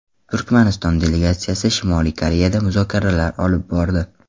Turkmaniston delegatsiyasi Shimoliy Koreyada muzokaralar olib bordi.